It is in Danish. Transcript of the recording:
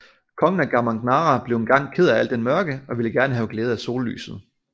Kongen af Gamangnara blev engang ked af al den mørke og ville gerne have glæde af sollyset